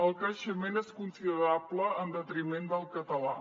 el creixement és considerable en detriment del català